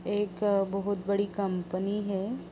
एक बहुत बड़ी कंपनी है।